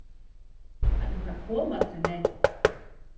En það kom aldrei neinn.